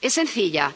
Es sencilla